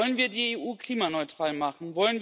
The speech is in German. Wollen wir die EU klimaneutral machen?